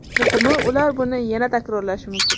Muhimi, ular buni yana takrorlashi mumkin.